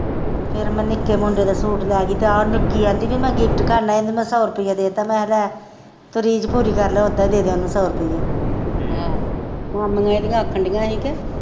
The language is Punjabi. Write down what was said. ਫਿਰ ਮੈ ਨਿੱਕੇ ਮੁੰਡੇ ਦੇ ਸੂਟ ਲੈ ਗਈ ਤੇ ਆ ਨਿੱਕੀ ਆਂਦੀ ਪੀ ਮੈ ਗਿਫਟ ਕਰਨਾ ਇਹਨੂੰ ਮੈ ਸੌ ਰੁਪਈਆ ਦੇ ਤਾ ਮੈ ਕਿਹਾ ਲੈ ਤੂੰ ਰੀਜ ਪੂਰੀ ਕਰਲਾ ਓਦਾਂ ਈ ਦੇਦੇ ਉਹਨੂੰ ਸੌ ਰੁਪਈਆ ਮਾਮੀਆਂ ਇਹ ਦੀਆ ਆਖਣ ਦੀਆ ਹੀ ਕੇ।